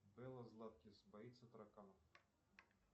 белла златкис боится тараканов